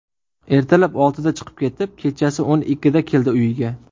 Ertalab oltida chiqib ketib, kechasi o‘n ikkida keladi uyiga.